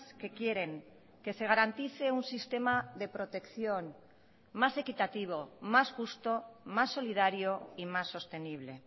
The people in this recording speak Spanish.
que quieren que se garantice un sistema de protección más equitativo más justo más solidario y más sostenible